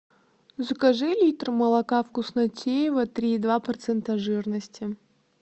закажи литр молока вкуснотеево три и два процента жирности